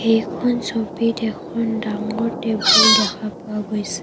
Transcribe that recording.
এইখন ছবিত এখন ডাঙৰ টেবুল দেখা পোৱা গৈছে।